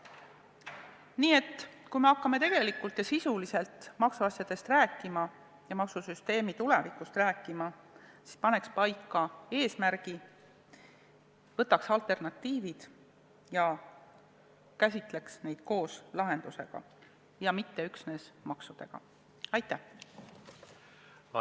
Nii et kui me hakkame maksuasjadest, sh maksusüsteemi tulevikust rääkima, siis paneks kõigepealt paika eesmärgi, võtaks ette alternatiivid ja käsitleks neid koos lahendusega, ja mitte üksnes makse puudutavate lahendustega.